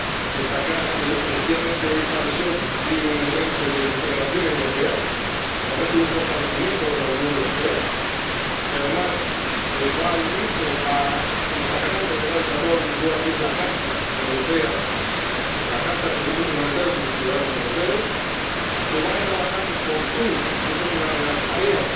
destacar que efectivamente esta adhesión constituye un elemento de integración europea —por tanto, un fortalecimiento de la Unión Europea— que, además, va a unirse a esa gran novedad del Tratado de Lisboa que es la Carta de los Derechos Fundamentales de la Unión Europea, que van a trabajar en conjunto, y esa es una de las tareas